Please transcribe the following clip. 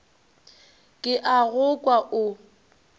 ke a go kwa o